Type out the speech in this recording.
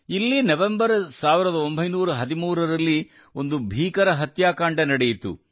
ಇಲ್ಲಿ ನವೆಂಬರ್ 1913 ರಲ್ಲಿ ಒಂದು ಭೀಕರ ಹತ್ಯಾಕಾಂಡ ನಡೆಯಿತು